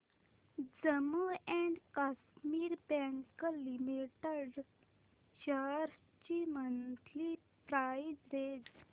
Jammu and Kashmir bank limited shares ची monthly price range